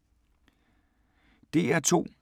DR2